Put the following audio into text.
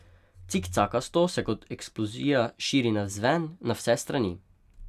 Cikcakasto se kot eksplozija širi navzven, na vse strani.